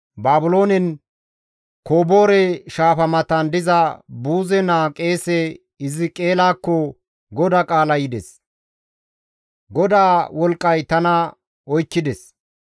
Baabiloonen Koboore shaafa matan diza Buuze naa qeese Hiziqeelakko GODAA qaalay yides; GODAA wolqqay tana oykkides.